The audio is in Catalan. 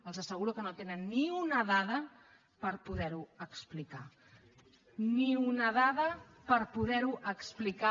els asseguro que no tenen ni una dada per poder ho explicar ni una dada per poder ho explicar